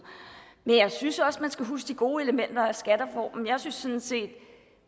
men jeg synes også man skal huske de gode elementer i skattereformen jeg synes sådan set